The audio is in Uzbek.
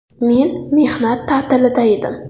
Men mehnat ta’tilida edim.